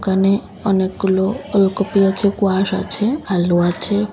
এখানে অনেকগুলো ওলকপি আছে কোয়াশ আছে আলু আছে।